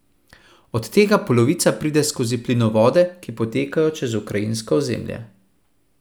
Od tega polovica pride skozi plinovode, ki potekajo čez ukrajinsko ozemlje.